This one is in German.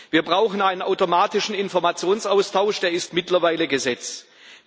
Wir brauchen einen automatischen Informationsaustausch, der mittlerweile Gesetz ist.